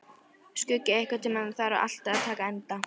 Skuggi, einhvern tímann þarf allt að taka enda.